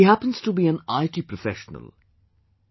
He happens to be an IT professional...